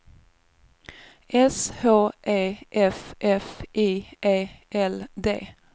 S H E F F I E L D